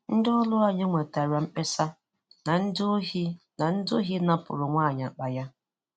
Ndị ọrụ anyị nwetara mkpesa na ndị ohi na ndị ohi napụrụ nwaanyị akpa ya.